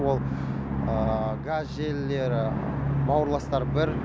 ол газ желілері бауырластар бір